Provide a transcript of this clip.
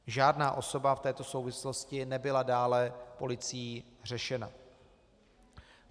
Žádná osoba v této souvislosti nebyla dále policií řešena.